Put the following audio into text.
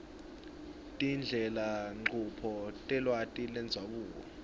tindlelanchubo telwati lwendzabuko